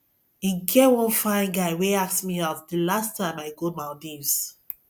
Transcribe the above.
e get one fine guy wey ask me out the last time i go maldives